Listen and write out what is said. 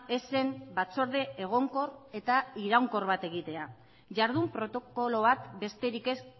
ez zen batzorde egonkor eta iraunkor bat egitea jardun protokoloak besterik ez